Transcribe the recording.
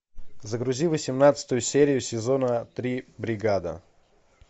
загрузи восемнадцатую серию сезона три бригада